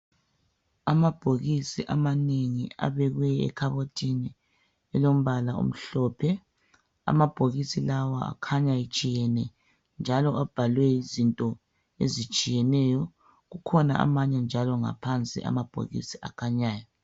Amabhokisi elombala omhlophe amabhokisi lawa akhanya etshiyene njalo abhaliwe izinto ezitshiyeneyo kukhona manye njalo ngaohansi amabhokisi akhanyayo.